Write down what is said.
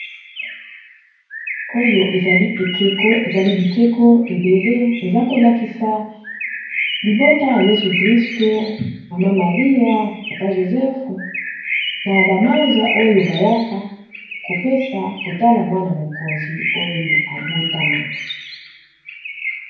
Oyo ezali ekeko eza kolakisa libota ya Jésus Christ maman Marie papa Joseph na ba mages bayaki kotala mwana mokonzi oyo abotamaki.